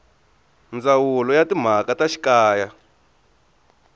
ndzawulo ya timhaka ta xikaya